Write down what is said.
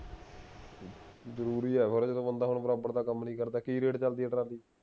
ਜਰੂਰੀ ਹੈ ਥੋੜੇ ਦਿਨ ਹੁਣ ਬੰਦਾ ਦਾ ਕੰਮ ਨਹੀਂ ਕਰਦਾ ਕਿ rate ਚਲਦੀ ਹੈ ਟਰਾਲੀ